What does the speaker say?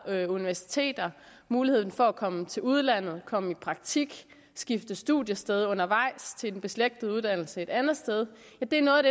universiteter og muligheden for at komme til udlandet komme i praktik skifte studiested undervejs til en beslægtet uddannelse et andet sted i dag er